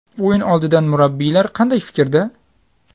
O‘yin oldidan murabbiylar qanday fikrda?